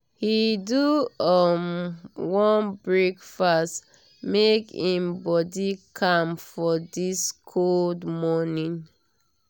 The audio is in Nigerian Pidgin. he do um warm breakfast make him body calm for this cold morning.